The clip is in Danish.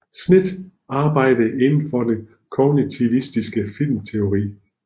Smith arbejder inden for den kognitivistiske filmteori